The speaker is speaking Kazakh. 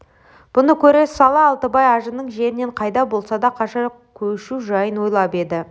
бұны көре сала алтыбай ажының жерінен қайда болса да қаша көшу жайын ойлап еді